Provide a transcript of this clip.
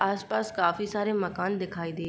आसपास काफी सारे मकान दिखाई दे --